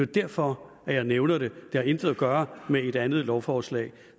derfor jeg nævner det det har intet at gøre med et andet lovforslag